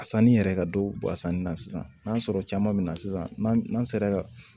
A sanni yɛrɛ ka dɔw bɔ a sanni na sisan n'a sɔrɔ caman be na sisan n'an sera ka